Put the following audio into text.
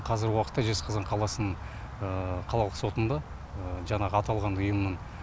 қазір уақытта жезқазған қаласын қалалық сотында жаңағы аталған ұйымның